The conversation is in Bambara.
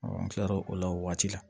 an kilara o la o waati la